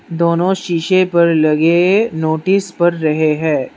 दोनों शीशे पर लगे नोटिस पढ़ रहे है।